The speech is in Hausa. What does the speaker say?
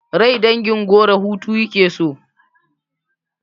Rai dangin goro hutu yake so